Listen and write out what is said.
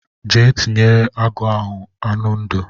Jee tinyere agụ ahụ anụ ndụ.